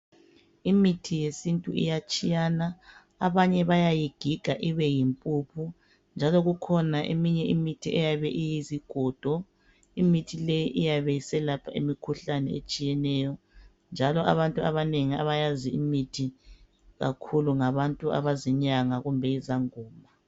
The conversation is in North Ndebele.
Imithi yesintu iyatshiyana. Abanye bayayigiga ibe yimpuphu njalo kukhona eminye imithi eyabe iyizigodo. Imithi le iyabe iselapha imikhuhlane etshiyeneyo njalo abantu abanengi abayazi imithi kakhulu ngabantu abazinyanga kumbe izangoma.